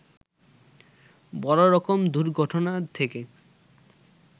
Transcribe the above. বড় রকম দুর্ঘটনা থেকে